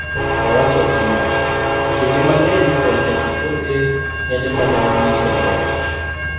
Owacho kama: "Kinde mang'eny fom 34A kende emanyalo nyiso loch.